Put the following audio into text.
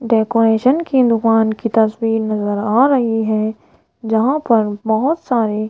decoration की दुकान की तस्वीर नजर आ रही है जहां पर बोहोत सारे--